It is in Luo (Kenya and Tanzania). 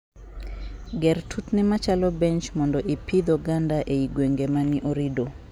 Gerr tutni machalo bench mondo I pidh oganda e gwenge mani orido.